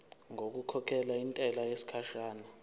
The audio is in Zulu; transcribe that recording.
ngokukhokhela intela yesikhashana